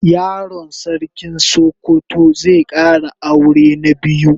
Yaron sarkin sokoto zai Kara aure na biyu